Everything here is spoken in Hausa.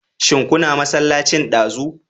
Shin kuna masallacin ɗazu?